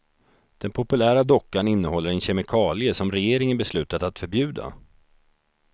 Den populära dockan innehåller en kemikalie som regeringen beslutat att förbjuda.